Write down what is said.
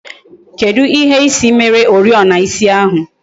Kedụ ihe ịsị mere oriọna ịsị ahụ?